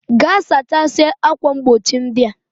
Ga sachasia akwa mgbochi ndia!